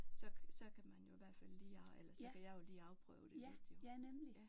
Så så kan man jo i hvert fald lige eller så kan jeg jo lige afprøve det lidt jo